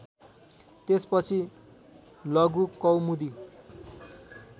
त्यसपछि लघुकौमुदी